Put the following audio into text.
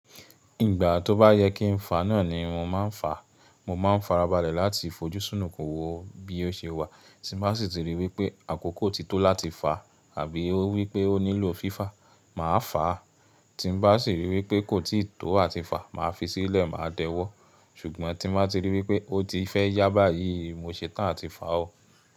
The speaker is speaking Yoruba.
Ìgbà tó bá yẹ kí n fà náà ni mo máa ń fà. Mo máa ń farabalẹ̀ láti fojú súnù kún wo bí ó ṣe wà. Tí n bá sì ti ríi wípé àkókò ti tó láti fà àbí ó wípé ó nílò fífà, màá fà á. Tí n bá sì ríi wípé kò tíì tó àti fà, màá fi sílẹ̀, màá dẹ́wọ́. Ṣùgbọ́n tí n bá ti ríi wípé ó ti fẹ́ yà báyìí, mo ṣe tán àti fà ó.